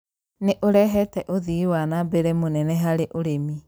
nĩ ũrehete ũthii wa na mbere mũnene harĩ ũrĩmi.